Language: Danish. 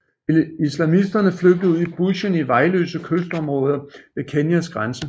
Islamisterne flygtede ud i bushen i vejløse kystområder ved Kenyas grænse